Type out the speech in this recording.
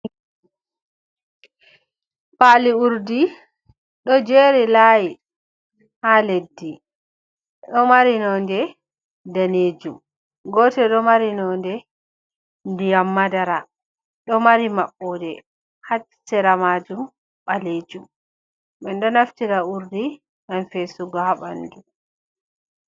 Paali urdi ɗo jeri lahi ha leddi, ɗo mari nonde danejum, gote ɗo mari nonde ndiyam madara, ɗo mari maɓɓoɗe ha cera majum balejum, min ɗo naftira urdi ngam fesugo ha ɓandu.